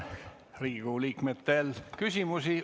Riigikogu liikmetel on teile küsimusi.